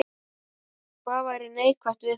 Hvað væri neikvætt við þetta?